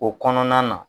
O kɔnɔna na